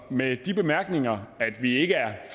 med de bemærkninger at vi ikke er